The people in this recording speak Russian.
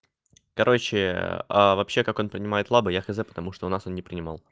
короче а вообще как он принимает лабораторные я хз потому что у нас он не принимал